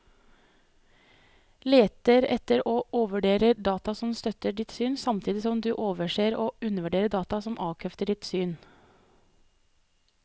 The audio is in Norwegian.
Leter etter og overvurderer data som støtter ditt syn, samtidig som du overser og undervurderer data som avkrefter ditt syn.